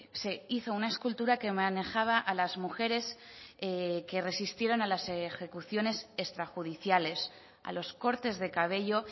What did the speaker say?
se hizo una escultura que manejaba a las mujeres que resistieron a las ejecuciones extrajudiciales a los cortes de cabello